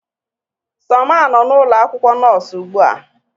Somma nọ n'ụlọ akwụkwọ nọọsụ ugbu a